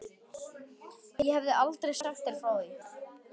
Ég hef aldrei sagt þér frá því.